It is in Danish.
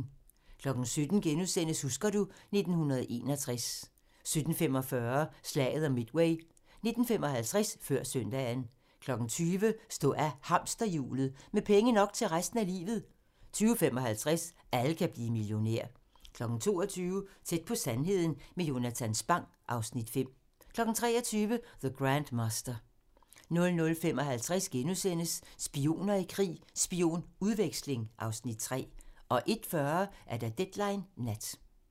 17:00: Husker du ... 1961 * 17:45: Slaget om Midway 19:55: Før søndagen 20:00: Stå af hamsterhjulet - med penge nok til resten af livet 20:55: Alle kan blive millionær 22:00: Tæt på sandheden med Jonatan Spang (Afs. 5) 23:00: The Grandmaster 00:55: Spioner i krig: Spionudveksling (Afs. 3)* 01:40: Deadline Nat